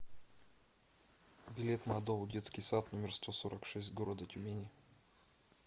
билет мадоу детский сад номер сто сорок шесть города тюмени